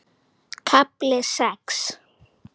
KAFLI SEX